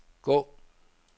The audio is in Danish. gå